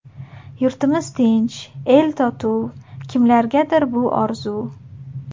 Yurtimiz tinch, el totuv, Kimlargadir bu orzu.